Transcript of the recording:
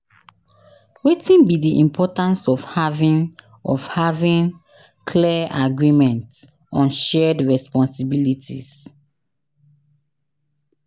Wetin be di importance of having of having claer agreement on shared responsibilities?